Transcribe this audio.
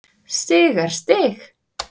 Stig er stig.